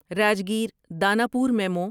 Rajgir Danapur memo